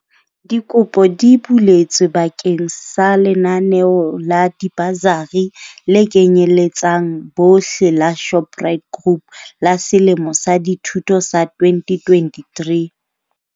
Dikopo di buletswe ba keng sa lenaneo la dibasari le kenyeletsang bohle la Shoprite Group la selemo sa dithuto sa 2023.